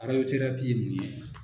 ye mun ye?